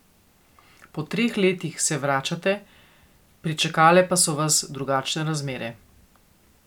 Po treh letih se vračate, pričakale pa so vas drugačne razmere.